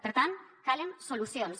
per tant calen solucions